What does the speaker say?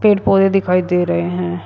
पेड़ पौधे दिखाई दे रहे हैं।